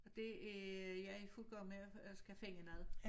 Og det er jeg i fuld gang med at skal finde noget